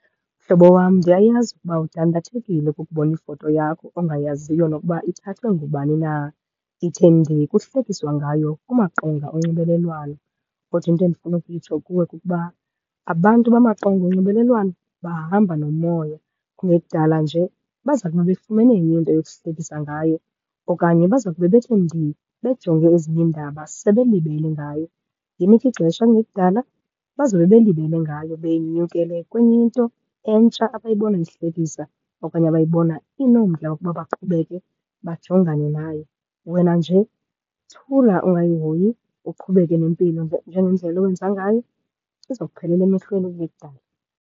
Mhlobo wam, ndiyayazi ukuba udandathekile kukubona ifoto yakho ongayaziyo nokuba ithathwe ngubani na, ithe ndii kuhlekiswa ngayo kumaqonga onxibelelwano. Kodwa into endifuna ukuyitsho kuwe kukuba abantu bamaqonga onxibelelwano bahamba nomoya. Kungekudala nje baza kube befumene enye into yokuhlekisa ngayo okanye baza kube bethe ndii, bejonge ezinye iindaba sebelibele ngayo. Yinike ixesha, kungekudala bazobe belibele ngayo, benyukele kwenye into entsha abayibona ihlekisa okanye abayibona inomdla wokuba baqhubeke bajongane nayo. Wena nje thula ungayihoyi, uqhubeke nempilo njengendlela owenza ngayo. Izawuphelela emehlweni kungekudala.